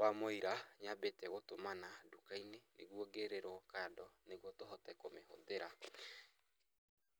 wa mũira nyambĩte gũtũmana nduka-inĩ, nĩguo ngĩrĩrwo kando nĩguo tũhote kũmĩhũthĩra.